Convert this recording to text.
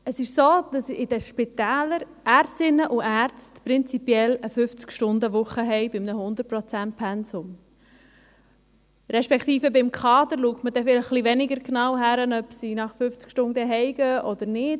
Es ist so, dass in den Spitälern Ärztinnen und Ärzte prinzipiell eine 50 Stundenwoche für ein 100 Prozentpensum haben, respektive beim Kader schaut man etwas weniger genau hin, ob sie nach 50 Stunden nach Hause gehen oder nicht.